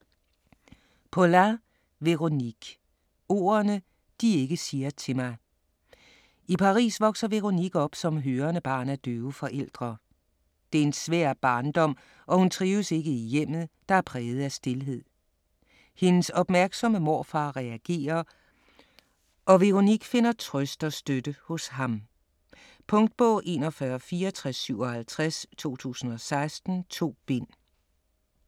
Poulain, Véronique: Ordene de ikke siger til mig I Paris vokser Véronique op som hørende barn af døve forældre. Det er en svær barndom og hun trives ikke i hjemmet, der er præget af stilhed. Hendes opmærksomme morfar reagerer, og Véronique finder trøst og støtte hos ham. Punktbog 416457 2016. 2 bind.